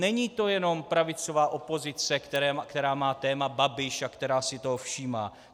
Není to jenom pravicová opozice, která má téma Babiš a která si toho všímá.